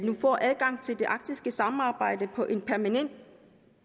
får adgang til det arktiske samarbejde på en permanent